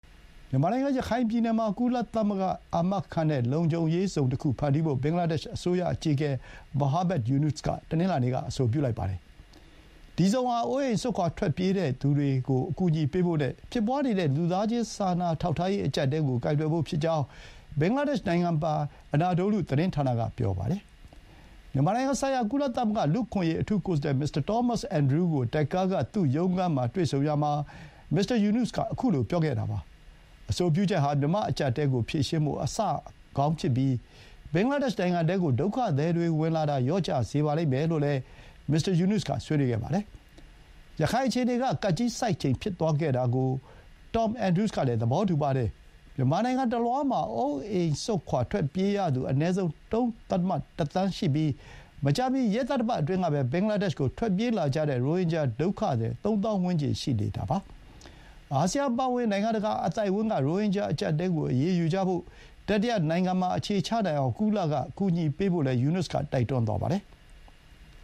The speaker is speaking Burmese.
မြန်မာနိုင်ငံ ရခိုင်ပြည်နယ်မှာ ကုလသမဂ္ဂက အာမခံတဲ့ လုံခြုံစိတ်ချရေးဇုံတခုဖန်တီးဖို့ ဘင်္ဂလားဒေ့ရှ် အစိုးရအကြီးအကဲ Muhammad Yunus က တနင်္လာနေ့က အဆိုပြုလိုက်ပါတယ်။ ဒီဇုံဟာ အိုးအိမ်စွန့်ခွါ ထွက်ပြေးခဲ့သူတွေကို အကူအညီပေးဖို့နဲ့ ဖြစ်ပွါးနေတဲ့ လူသားချင်းစာနာ ထောက်ထား ရေး အကြပ်အတည်းကို ကိုင်တွယ်ဖို့ ဖြစ်ကြောင်း ဘင်္ဂလားဒေ့ရှ် နိုင်ငံပိုင် Anadolu သတင်းဌာနက ပြောပါတယ်။ မြန်မာနိုင်ငံဆိုင်ရာ ကုလသမဂ္ဂ လူ့အခွင့်အရေး အထူးကိုယ်စားလှယ် မစ္စတာတွမ် အင်ဒရူးကို ဒက္ကားက သူ့ရုံးခန်းမှာ တွေ့ဆုံရာမှာ မစ္စတာယူနွတ်က ခုလို ပြောခဲ့တာပါ။ အဆိုပြုချက်ဟာ မြန်မာ့အကျပ် အတည်းကို ဖြေရှင်းဖို့ အစကောင်းဖြစ်ပြီး ဘင်္ဂလားဒေ့ရှ် နိုင်ငံထဲကို ဒုက္ခသည်တွေဝင်လာတာ လျော့ကျစေလိမ့်မယ်လို့လည်း မစ္စတာ ယူနွတ်စ်က ဆွေးနွေးခဲ့ပါတယ်။ ရခိုင်အခြေအနေက ကပ်ကြီးဆိုက်ချိန်ဖြစ်သွားခဲ့တာကို တွမ် အင်ဒရူးကလည်း သဘောတူပါတယ်။ မြန်မာနိုင်ငံတလွှားမှာ အိုးအိမ်စွန့်ခွါထွက်ပြေးရသူ အနည်းဆုံး ၃.၁ သန်းရှိပြီး မကြာမီ ရက်သတ္တပတ် အတွင်းကပဲ ဘင်္ဂလားဒေ့ရှ်ကို ထွက်ပြေးလာကြတဲ့ ရိုဟင်ဂျာ ဒုက္ခသည် ၃ သောင်း ဝန်းကျင် ရှိတာပါ။ အာဆီယံအပါအဝင် နိုင်ငံတကာ အသိုက်အဝန်းက ရိုဟင်ဂျာအကျပ်အတည်းကို အရေးယူကြဖို့၊ တတိယနိုင်ငံတွေမှာ အခြေချနိုင်အောင် ကုလကကူညီဖို့ ယူနွတ်စ်က တိုက်တွန်းပါတယ်။